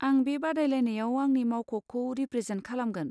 आं बे बादायलायनायाव आंनि मावख'खौ रिप्रेजेन्ट खालामगोन।